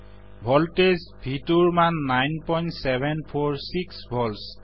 voltage V2ৰ মান 9746 volts